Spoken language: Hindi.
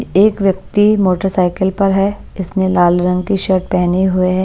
एक व्यक्ति मोटरसाइकिल पर है इसने लाल रंग की शर्ट पहने हुए.